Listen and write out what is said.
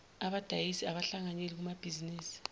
abadayisi abahlanganyeli kumabhizinisi